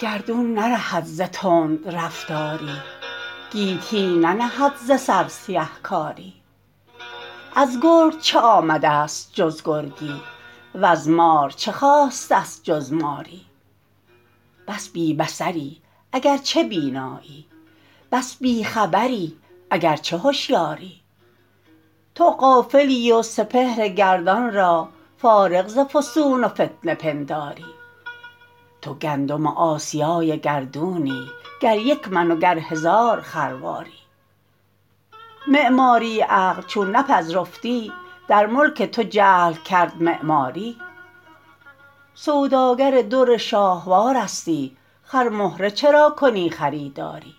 گردون نرهد ز تندرفتاری گیتی ننهد ز سر سیه کاری از گرگ چه آمدست جز گرگی وز مار چه خاستست جز ماری بس بی بصری اگرچه بینایی بس بی خبری اگرچه هشیاری تو غافلی و سپهر گردان را فارغ ز فسون و فتنه پنداری تو گندم آسیای گردونی گر یک من و گر هزار خرواری معماری عقل چون نپذرفتی در ملک تو جهل کرد معماری سوداگر در شاهوارستی خرمهره چرا کنی خریداری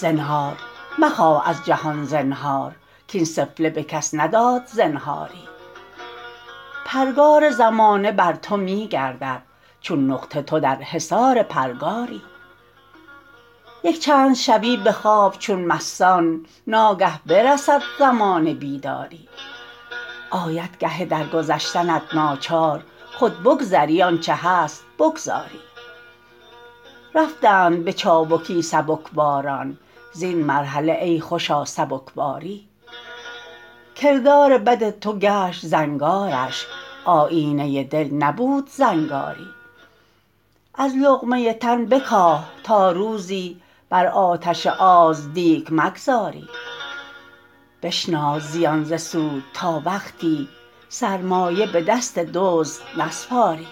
زنهار مخواه از جهان زنهار کاین سفله به کس نداد زنهاری پرگار زمانه بر تو میگردد چون نقطه تو در حصار پرگاری یک چند شوی به خواب چون مستان ناگه برسد زمان بیداری آید گه درگذشتنت ناچار خود بگذری آنچه هست بگذاری رفتند به چابکی سبک باران_ زین مرحله ای خوشا سبکباری کردار بد تو گشت زنگارش آیینه دل نبود زنگاری از لقمه تن بکاه تا روزی بر آتش آز دیگ مگذاری بشناس زیان ز سود تا وقتی سرمایه به دست دزد نسپاری